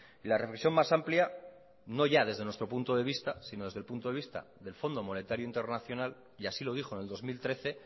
y la reflexión más amplia no ya desde nuestro punto de vista sino desde el punto de vista del fondo monetario internacional y así lo dijo en el dos mil trece